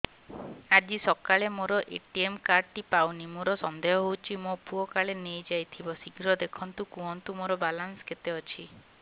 ଆଜି ସକାଳେ ମୋର ଏ.ଟି.ଏମ୍ କାର୍ଡ ଟି ପାଉନି ମୋର ସନ୍ଦେହ ହଉଚି ମୋ ପୁଅ କାଳେ ନେଇଯାଇଥିବ ଶୀଘ୍ର ଦେଖି କୁହନ୍ତୁ ମୋର ବାଲାନ୍ସ କେତେ ଅଛି